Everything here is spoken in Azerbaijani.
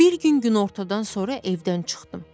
Bir gün günortadan sonra evdən çıxdım.